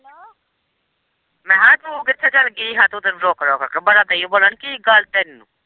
ਮੈਂ ਕਿਹਾ ਤੂੰ ਕਿੱਥੇ ਚੱਲ ਗਈ ਹੀ ਹਾਂ ਤੂੰ-ਤੂੰ ਤੇ ਰੁੱਕ-ਰੁੱਕ ਕੇ ਬੜਾ ਦਈ ਏ ਬੋਲਣ ਕੀ ਗੱਲ ਤੈਨੂੰ।